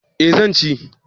Eh zan ci